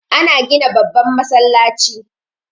Ana gina babban masallaci